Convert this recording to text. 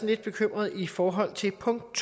lidt bekymrede i forhold til punkt